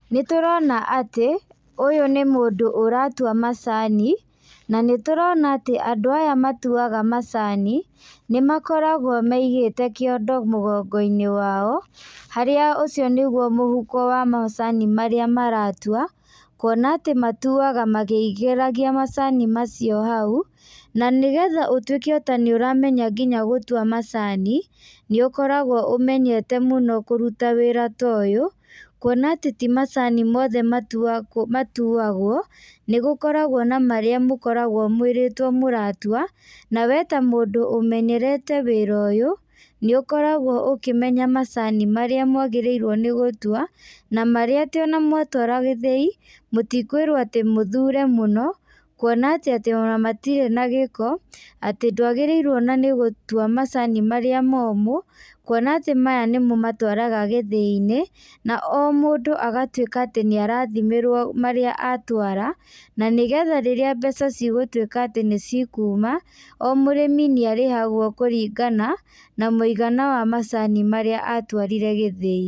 Nĩ tũrona atĩ ũyũ nĩ mũndũ ũratua macani na nĩ tũrona atĩ andũ aya matuaga macani ni makoragwo maigĩte kĩondo mũgongo-inĩ wao harĩa ũcio nĩguo mũhuko wa macani marĩa maratua. Kwona atĩ matuaga makĩingĩragia macani macio hau. Na nĩgetha ũtuĩke ota nĩ ũramenya gũtua macani, nĩ ũkoragwo ũmenyete mũno kũruta wĩra ũyũ. Kwona atĩ ti macani mothe matuagwo, nĩ gũkoragwo na marĩa mũkoragwo mwĩrĩtwo mũratua. Na we ta mũndũ ũmenyerete wĩra ũyũ nĩ ũkoragwo ũkĩmenya macani marĩa mwagĩrĩirwo nĩ gũtua, na marĩa atĩ ona mwatwara gĩthĩi mũtikwĩrwo atĩ mũthure mũno. Kwona atĩ ona matirĩ na gĩko atĩ ndwagĩrĩirwo ona nĩ gũtua macani marĩa momũ. Kwona atĩ maya nĩmo matwaragwo gĩthĩi-inĩ na o mũndũ agatuĩka atĩ nĩ arathimĩrwo marĩa atwara, na nĩgetha rĩrĩa mbeca cigũtuĩka atĩ nĩ cikuma, o mũrĩmi nĩ arĩhagwo kũringana na mũigana wa macani marĩa atwarire gĩthĩi.